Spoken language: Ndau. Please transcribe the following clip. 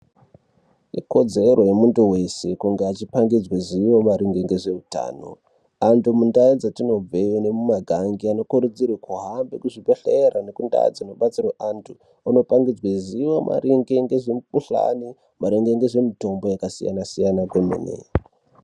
Ikodzero yemuntu weshe kunge echipangidzwa zivo maringe ngezveutano. Antu muntau dzetinobve nemumagange vanokurudzirwa kuhambe kuzvibhedhlera nekundau dzinodetserwe antu kunopangidzwe zivo maringe ngezve mukhuhlane maringe nezvemitombo yakasiyana-siyana kwemene.